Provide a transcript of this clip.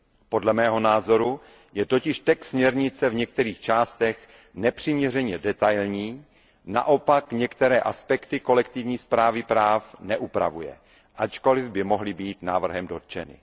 Podle mého názoru je totiž text směrnice v některých částech nepřiměřeně detailní, naopak některé aspekty kolektivní správy práv neupravuje, ačkoliv by mohly být návrhem dotčeny.